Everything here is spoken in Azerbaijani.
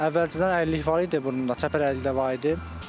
Əvvəlcədən əyrilik var idi burnunda, çəpər əyriliyi də var idi.